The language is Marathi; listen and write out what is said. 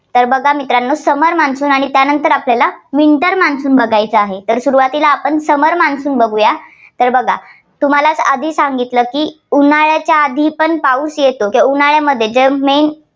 तर बघा मित्रांनो summer monsoon आणि त्यानंतर आपल्याला winter monsoon बघायचं आहे. तर सुरुवातीला आपण summer monsoon बघुया. तर बघा तुम्हाला आधी सांगितलं की उन्हाळ्याच्या आधीपण पाऊस येतो उन्हाळ्यामध्ये मे